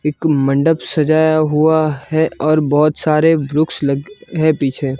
एक मंडप सजाया हुआ है और बहोत सारे वृक्ष लगे हैं पीछे।